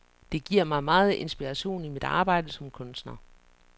Det giver mig meget inspiration i mit arbejde som kunstner.